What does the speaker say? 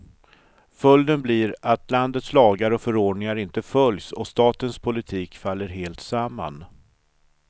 Följden blir att landets lagar och förordningar inte följs och statens politik faller helt samman.